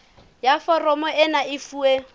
ya foromo ena e fuwe